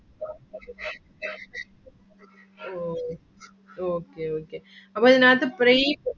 ഓഹ് Okay~ Okay അപ്പൊ അതിനകത്തു break